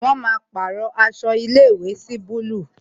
Wọn máa pàrọ aṣọ ilé ìwé sí búlúù